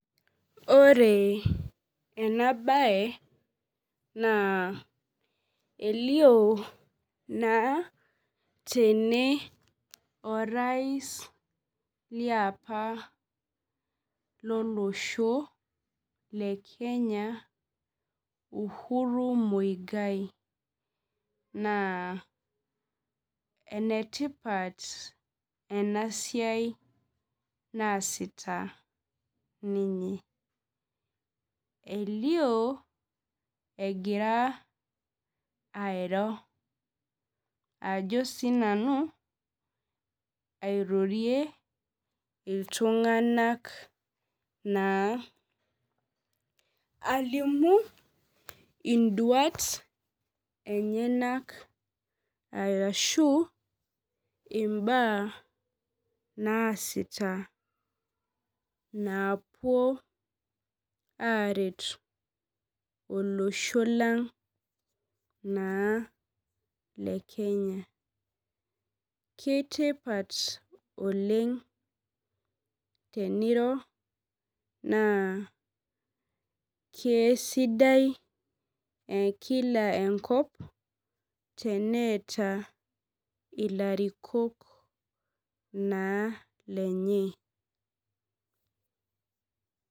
Ore ena baye naa elio naa tene orais liapa lolosho le kenya Uhuru mwigai naa enetipat ena siai naasita ninye elio egira airo ajo sinanu airorie iltung'anak naa alimu induat enyenak arashu imbaa naasita naapuo aret olosho lang naa le kenya kitipat oleng teniro naa kesidai ekila enkop teneeta ilarikok naa lenye.